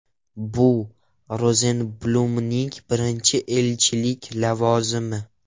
Bu - Rozenblumning birinchi elchilik lavozimi.